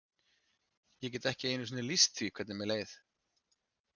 Ég get ekki einu sinni lýst því hvernig mér leið.